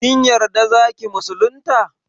Kin yarda zaki musulunta?